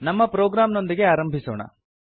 ನಮ್ಮ ಪ್ರೋಗ್ರಾಮ್ ನೊಂದಿಗೆ ಆರಂಭಿಸೋಣ